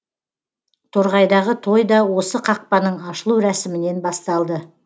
торғайдағы той да осы қақпаның ашылу рәсімінен басталды